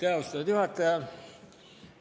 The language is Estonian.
Aitäh, austatud juhataja!